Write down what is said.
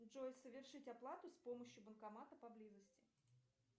джой совершить оплату с помощью банкомата поблизости